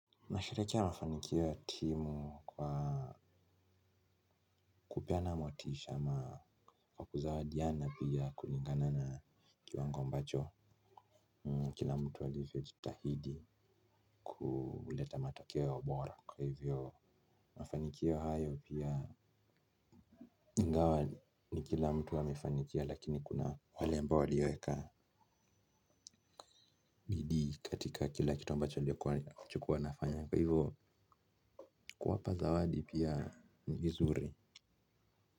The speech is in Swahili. Nasherehekea mafanikio timu kwa kupeana motisha ama kwa kuzawadiana pia kulingana na kiwango ambacho kila mtu walivyo jitahidi kuuleta matakeo bora kwa hivyo mafanikio hayo pia ingawa ni kila mtu amefanikiwa lakini kuna wale ambao waliweka bidii katika kila kitu ambacho walichokua wanafanya kwa hivyo kuwapa zawadi pia ni vizuri.